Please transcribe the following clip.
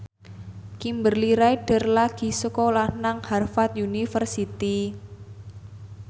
Kimberly Ryder lagi sekolah nang Harvard university